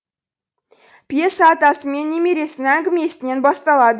пьеса атасы мен немересінің әңгімесінен басталады